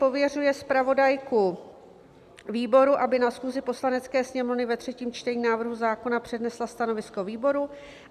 Pověřuje zpravodajku výboru, aby na schůzi Poslanecké sněmovny ve třetím čtení návrhu zákona přednesla stanovisko výboru.